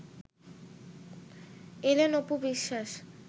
এলেন অপু বিশ্বাস